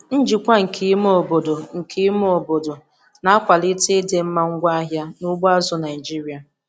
Njikwa nke ime obodo nke ime obodo na-akwalite ịdịmma ngwaahịa n'ugbo azụ̀ Naịjiria.